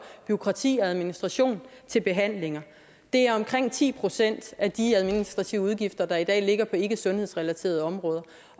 bureaukrati og administration til behandlinger det er omkring ti procent af de administrative udgifter der i dag ligger på ikkesundhedsrelaterede områder